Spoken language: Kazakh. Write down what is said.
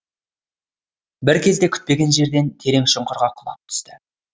бір кезде күтпеген жерден терең шұңқырға құлап түсті